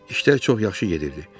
İşlər çox yaxşı gedirdi.